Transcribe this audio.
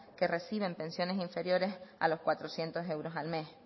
que reciben pensiones inferiores a los cuatrocientos euros al mes